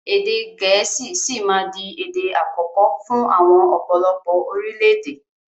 Èdè gẹ̀ẹ́sì sì máa di èdè àkọ́kọ́ fún àwọn ọ̀pọ̀lọpọ̀ orílédé